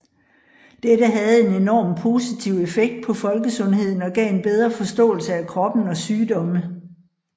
Dette havde en enorm positiv effekt på folkesundheden og gav en bedre forståelse af kroppen og sygdomme